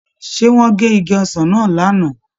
Ṣé wọ́n gé igi ọsàn náà lánàá?